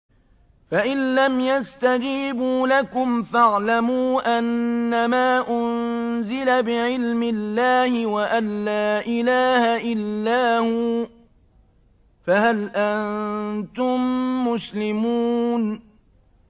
فَإِلَّمْ يَسْتَجِيبُوا لَكُمْ فَاعْلَمُوا أَنَّمَا أُنزِلَ بِعِلْمِ اللَّهِ وَأَن لَّا إِلَٰهَ إِلَّا هُوَ ۖ فَهَلْ أَنتُم مُّسْلِمُونَ